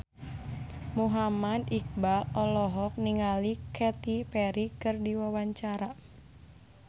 Muhammad Iqbal olohok ningali Katy Perry keur diwawancara